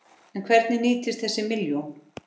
En hvernig nýtist þessi milljón?